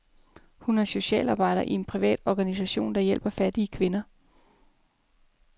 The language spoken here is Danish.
Hun er socialarbejder i en privat organisation, der hjælper fattige kvinder.